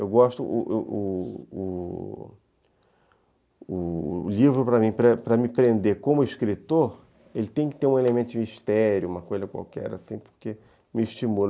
Eu gosto... O o o o livro, para para para me prender como escritor, ele tem que ter um elemento mistério, uma coisa qualquer assim, porque me estimula.